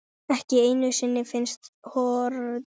ekki einu sinni finnsk horn.